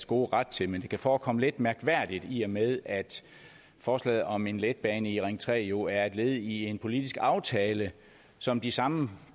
gode ret til men det kan forekomme lidt mærkværdigt i og med at forslaget om en letbane i ring tre jo er et led i en politisk aftale som de samme